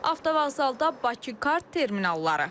Avtovağzalda Bakı kart terminalları.